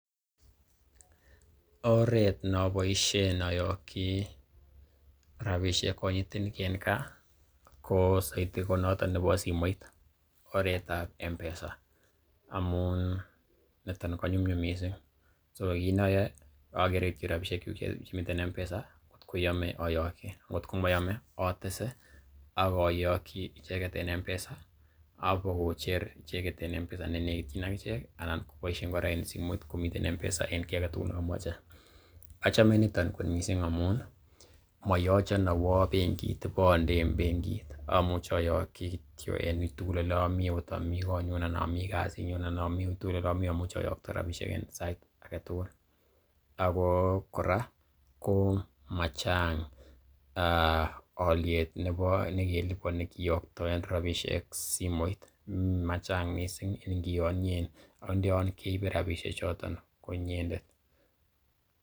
Oret ne oboishen oyoki rabishek konyitenik chemi ga kosoito ko noton nebo simoit, aret ab M-Pesa amun niton ko nyumnyum misin so kiit ne oyoe ogere kityog rabishekyuk chemiten M-Pesa ngotko koyome ayoki ngotko moyome atese, ak oyoki icheget en M-Pesa ak kobakocher icheget en M-Pesa ne negityin ak ichek anan koboisien kora en simoit komiten M-Pesa enkiy age tugul nekomoche. Achome niton kot mising amun moyochon awo bengit ibo onde en bengit amuche oyoki kityo en uitugul ole omi agot omi konyun anan omi kasinyun anan omi uitugl ole omi amuche oyokto rabishek en sait age tugul. Ago kora machnag olyet nekiliponi kiyoktoen rabishek simoit machnag mising ingiyonyen ak ndo yon ke ibe rabishek choto ko inyendet.